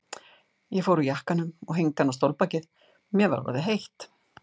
Ég fór úr jakkanum og hengdi hann á stólbakið, mér var orðið heitt.